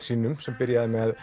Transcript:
sínum sem byrjaði með